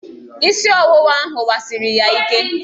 Isị ọwụwa ahụ wasiri ya ike.